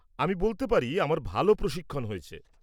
আমি বলতে পারি আমার ভাল প্রশিক্ষণ হয়েছে।